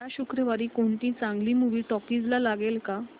या शुक्रवारी कोणती चांगली मूवी टॉकीझ ला लागेल का